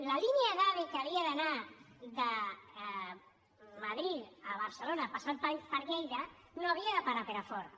la línia d’ave que havia d’anar de madrid a barcelona passant per lleida no havia de parar a perafort